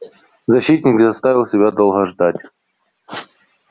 защитник не заставил себя долго ждать